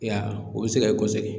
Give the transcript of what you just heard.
E y'a ye o bi se ka kɔsegin.